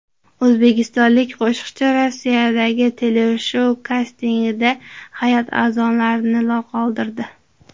O‘zbekistonlik qo‘shiqchi Rossiyadagi teleshou kastingida hay’at a’zolarini lol qoldirdi.